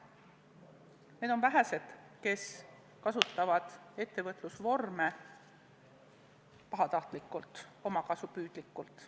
Need on vähesed, kes kasutavad ettevõtlusvorme pahatahtlikult, omakasupüüdlikult.